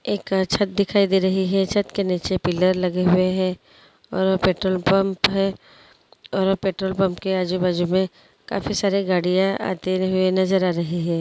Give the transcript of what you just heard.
एक अच्छा दिखाई दे रही है छत के नीचे पिलर लगे हुए हैं और पेट्रोल पंप है और पेट्रोल पंप के आजू-बाजू में काफी सारे गाड़िया आते हुए नजर आ रही है।